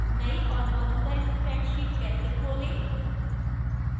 नई और मौजूदा spreadsheet कैसे खोलें